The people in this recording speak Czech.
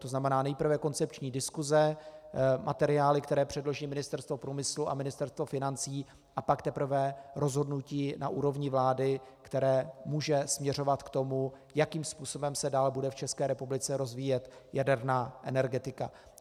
To znamená nejprve koncepční diskuse, materiály, které předloží Ministerstvo průmyslu a Ministerstvo financí, a pak teprve rozhodnutí na úrovni vlády, které může směřovat k tomu, jakým způsobem se dál bude v České republice rozvíjet jaderná energetika.